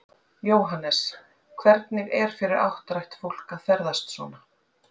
Jóhannes: Hvernig er fyrir áttrætt fólk að ferðast svona?